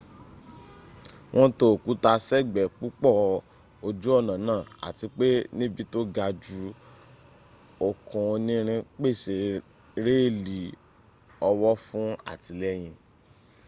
wọn tó òkúta s'ẹ́gbẹ́ púpọ̀ ojú ọ̀nà náà àti pé níbi tó gajù okùn onírin pèsè réèlì ọwọ́ fún àtìlẹ́yìn